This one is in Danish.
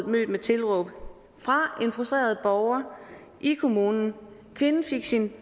mødt med tilråb fra en frustreret borger i kommunen kvinden fik sin